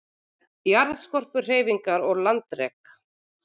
Jarðskorpuhreyfingar og landrek